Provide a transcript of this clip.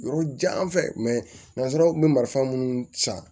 Yɔrɔ jan fɛ mɛ nanzaraw kun be marifa munnu san